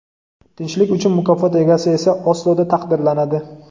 Tinchlik uchun mukofot egasi esa Osloda taqdirlanadi.